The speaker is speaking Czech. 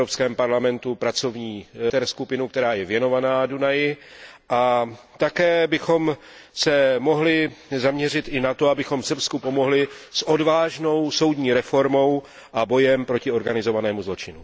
v Evropském parlamentu pracovní meziskupinu, která je věnovaná Dunaji, a také bychom se mohli zaměřit i na to, abychom Srbsku pomohli s odvážnou soudní reformou a bojem proti organizovanému zločinu.